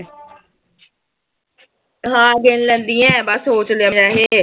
ਹਾਂ ਗਿਣ ਲੈਂਦੀ ਆਂ, ਬਸ ਸੋਚ ਲਿਆ ਵੈਸੇ।